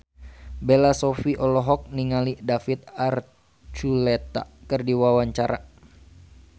Bella Shofie olohok ningali David Archuletta keur diwawancara